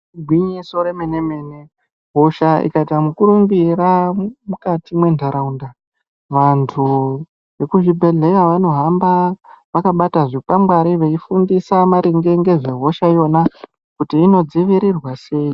Igwinyiso remene-mene, hosha ikaita mukurumbira mukati mwentaraunda, vantu vekuzvibhedhleya vanohamba vakabata zvikwangwari, veifundisa maringe ngezvehosha iyona, kuti inodziiriirwa sei.